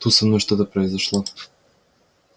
тут со мной что-то произошло